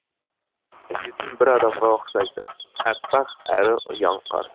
сүйетін бір адамға ұқсайды әппәқ әрі ұяң қар